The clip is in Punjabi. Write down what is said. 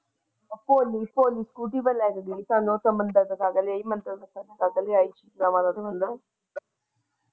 ਹੋਲੀ ਹੋਲੀ ਸਕੂਟਰੀ ਤਾ ਮੈਂ ਲੈ ਜਾਵਾਂ ਗਈ ਤੁਹਾਨੂੰ ਉੱਥੇ ਮੰਦਿਰ ਵੇਖ ਕੇ ਲਿਆਈ ਮੰਦਿਰ ਦਿਖਾ ਕੇ।